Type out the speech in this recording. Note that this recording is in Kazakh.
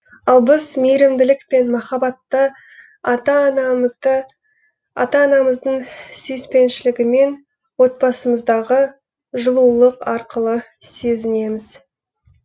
ал біз мейірімділік пен махаббатты ата анамыздың сүйіспеншілігімен отбасымыздағы жылулық арқылы сезінеміз